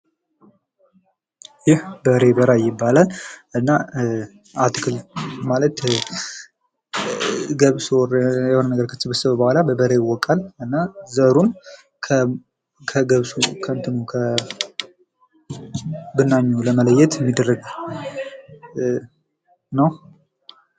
ይህ በሬ በራይ ይባላል። እና ገብስ ኦር የሆነ ነገር ከተሰበሰበ በኋላ በበሬ ይወቃል። እና ዘሩን ከብናኙ ለመለየት ነዉ።